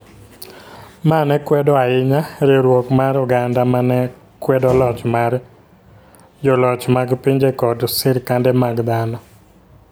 ma ne kwedo ahinya riwruok mar oganda ma ne kwedo loch mar joloch mag pinje koda sirkande mag dhano,